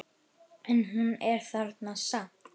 En hún er þarna samt.